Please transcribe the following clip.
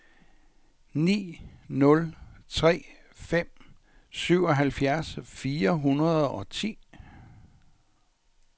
ni nul tre fem syvoghalvfjerds fire hundrede og ti